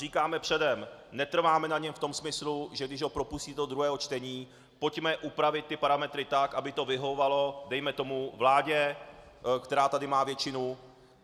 Říkáme předem, netrváme na něm v tom smyslu, že když ho propustíte do druhého čtení, pojďme upravit ty parametry tak, aby to vyhovovalo dejme tomu vládě, která tady má většinu.